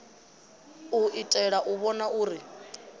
u itela u vhona uri